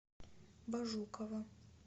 бажукова